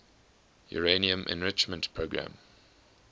uranium enrichment program